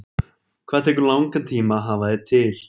Hvað tekur langan tíma að hafa þig til?